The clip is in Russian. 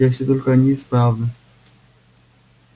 если только они исправны